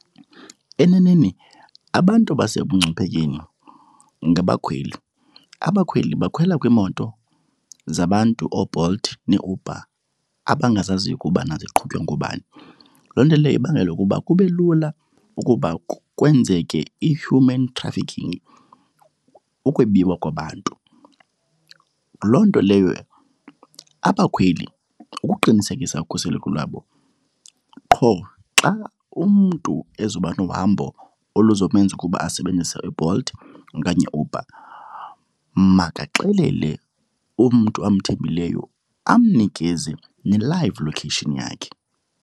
Eneneni abantu basekungciphekweni ngabakhweli. Abakhweli bakhwela kwiimoto zabantu, ooBolt neeUber abangazaziyo ukubana ziqhutywa ngobani. Loo nto leyo ibangela ukuba kube lula ukuba kwenzeke i-human trafficking, ukwebiwa kwabantu. Loo nto leyo abakhweli ukuqinisekisa ukhuseleko lwabo, qho xa umntu ezoba nohambo elizomenza ukuba asebenzise uBolt okanye iUber makaxelele umntu amthembileyo amnikeze ne-live location yakhe.